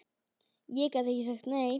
Ég gat ekki sagt nei.